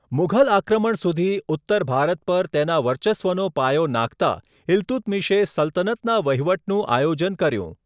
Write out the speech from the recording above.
મુઘલ આક્રમણ સુધી ઉત્તર ભારત પર તેના વર્ચસ્વનો પાયો નાખતા, ઇલ્તુત્મિશે સલ્તનતનાં વહીવટનું આયોજન કર્યું.